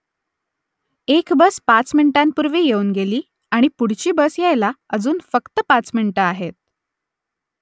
एक बस पाच मिनिटांपूर्वी येऊन गेली आणि पुढची बस यायला अजून फक्त पाच मिनिटं आहेत